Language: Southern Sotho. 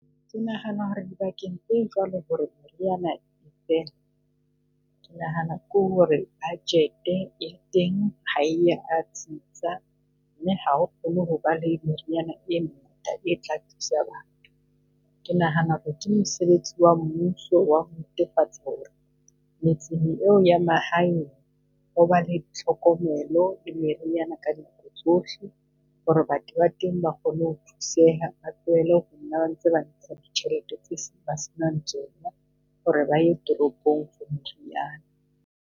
Ke nahana ho re di bakeng tse jwalo ho re meriana e fela. Ke nahana ke ho re budget-e ya teng ha e ya tsitsa, mme ha ho kgone ho ba le meriana e tla thusa batho. Ke nahana ho re ke mosebetsi wa mmuso ho re metseng eo ya mahae ho ba le tlhokomelo le meriana ka tsohle. Ho re batho ba teng ba kgone ho thuseha, ba tlohele ho nna ba ntsha ditjhelete tse ba senang tsona ho re ba ye toropong .